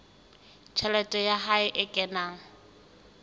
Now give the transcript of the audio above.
tjhelete ya hae e kenang